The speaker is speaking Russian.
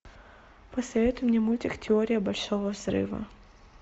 посоветуй мне мультик теория большого взрыва